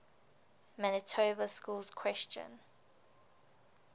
manitoba schools question